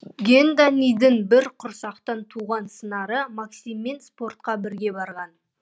гендадийдің бір құрсақтан туған сыңары максиммен спортқа бірге барған